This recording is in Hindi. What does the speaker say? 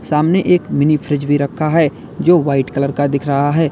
सामने एक मिनी फ्रिज भी रखा है जो वाइट कलर का दिख रहा है।